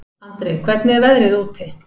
Andri, hvernig er veðrið úti?